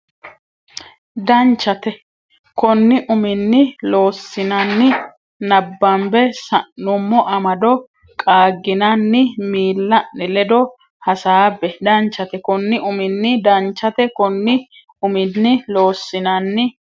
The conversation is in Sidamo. Danchate konni uminni Loossinanni nabbambe sa nummo amado qaagginanni miilla ne ledo hasaabbe Danchate konni uminni Danchate konni uminni Loossinanni.